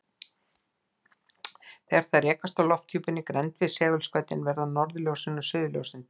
Þegar þær rekast á lofthjúpinn í grennd við segulskautin verða norðurljósin og suðurljósin til.